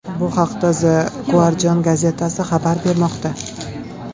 Bu haqda The Guardian gazetasi xabar bermoqda .